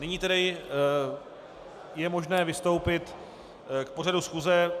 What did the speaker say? Nyní tedy je možné vystoupit k pořadu schůze.